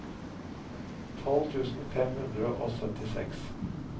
tolv tusen fem hundre og syttiseks